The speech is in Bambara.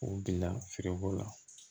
U bila feereko la